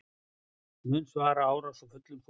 Munu svara árás af fullum þunga